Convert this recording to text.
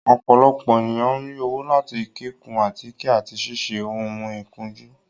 Ọ́pọlọpọ eniyan n ri owo lati kikun atike ati siṣe oun ikunju